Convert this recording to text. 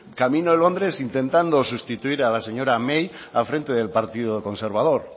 camino londres intentando sustituir a la señora may al frente del partido conservador